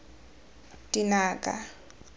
dinaga